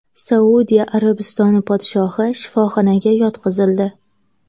Saudiya Arabistoni podshohi shifoxonaga yotqizildi.